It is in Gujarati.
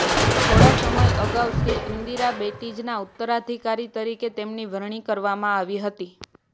થોડા સમય અગાઉ શ્રી ઈન્દિરાબેટીજીના ઉત્તરાધિકારી તરીકે તેમની વરણી કરવામાં આવી હતી